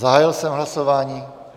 Zahájil jsem hlasování.